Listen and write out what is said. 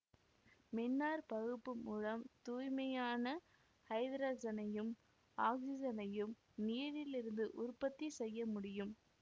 மின்னாற்பகுப்பு மூலம் தூய்மையான ஐத்ரசனையும் ஆக்சிசனையும் நீரிலிருந்து உற்பத்தி செய்ய முடியும்